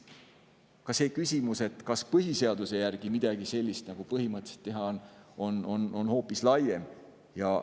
Ka see küsimus, kas põhiseaduse järgi põhimõtteliselt saaks midagi sellist teha, on hoopis laiem.